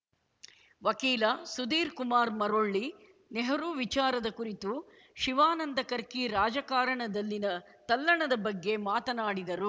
ವಕೀಲ ಸುಧೀರ್‌ಕುಮಾರ್‌ ಮರೊಳ್ಳಿ ನೆಹರು ವಿಚಾರದ ಕುರಿತು ಶಿವಾನಂದ ಕರ್ಕಿ ರಾಜಕಾರಣದಲ್ಲಿನ ತಲ್ಲಣದ ಬಗ್ಗೆ ಮಾತನಾಡಿದರು